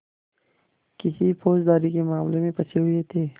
किसी फौजदारी के मामले में फँसे हुए थे